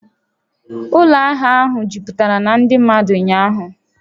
Ụlọ ahịa ahụ jupụtara na ndị mmadụ ụnyaahụ